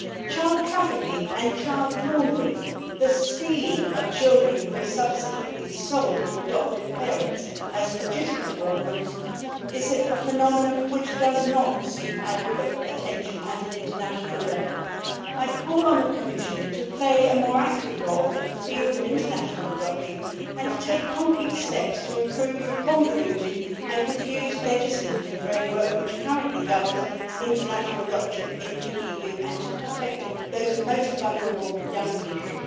Child trafficking and child laundering the stealing of children who are subsequently sold to adoptive parents as legitimate orphans is a phenomenon which does not receive adequate attention at an international level. I would call on the Commission to play a more active role in the field of international adoption, to take concrete steps to improve the convoluted and confused legislative framework which currently governs international adoption in the EU, and to protect those most vulnerable young people.